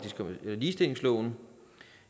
ligestillingsloven